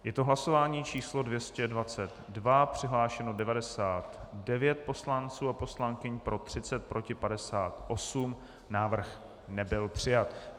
Je to hlasování číslo 222, přihlášeno 99 poslanců a poslankyň, pro 30, proti 58, návrh nebyl přijat.